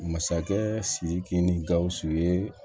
Masakɛ siriki ni gawusu ye